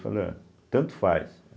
Falei, olha, tanto faz.